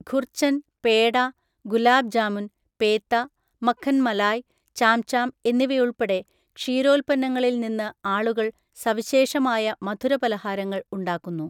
ഖുർച്ചൻ, പേട, ഗുലാബ് ജാമുൻ, പേത്ത, മഖൻ മലായ്, ചാംചാം എന്നിവയുൾപ്പെടെ ക്ഷീരോൽപ്പന്നങ്ങളിൽ നിന്ന് ആളുകൾ സവിശേഷമായ മധുരപലഹാരങ്ങൾ ഉണ്ടാക്കുന്നു.